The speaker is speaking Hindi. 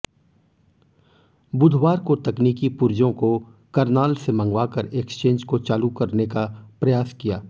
बुधवार को तकनीकी पुर्जों को करनाल से मंगवाकर एक्सचेंज को चालू करने का प्रयास किया